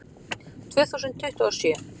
Tvö þúsund tuttugu og sjö